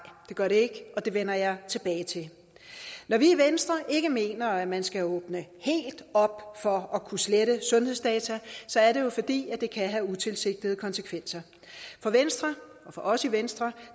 det gør det ikke og det vender jeg tilbage til når vi i venstre ikke mener at man skal åbne helt op for at kunne slette sundhedsdata så er det jo fordi det kan have utilsigtede konsekvenser for os i venstre